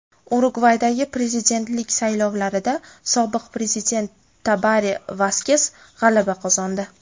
Urugvaydagi prezidentlik saylovlarida sobiq prezident Tabare Vaskes g‘alaba qozondi.